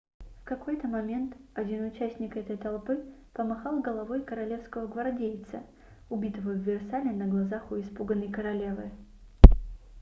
в какой-то момент один участник этой толпы помахал головой королевского гвардейца убитого в версале на глазах у испуганной королевы